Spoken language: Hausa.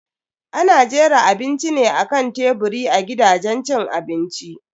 Ana jera abinci ne akan teburi a gidajen cin abinci.